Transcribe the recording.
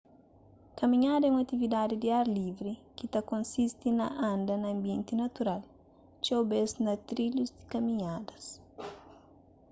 kaminhada é un atividadi di ar livri ki ta konsisti na anda na anbienti natural txeu bês na trilhus di kaminhadas